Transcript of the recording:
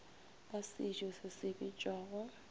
ba sejo se se bitšwago